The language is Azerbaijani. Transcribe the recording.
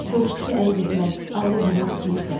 Soruşdu ki, ərə getmək, ailə qurmaq istəyirsən?